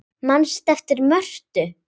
Manstu eftir Mörtu?